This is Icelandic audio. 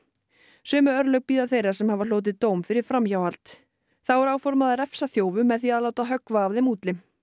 sömu örlög bíða þeirra sem hafa hlotið dóm fyrir framhjáhald þá er áformað að refsa þjófum með því að höggva af þeim útlim